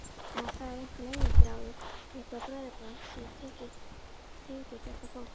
Það er einhver leyniþráður, eitthvert bræðraband sem tengir þetta fólk.